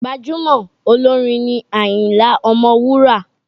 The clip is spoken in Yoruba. Gbajúmọ̀ olórin ni Àyìnlá ọmọ Wúrà.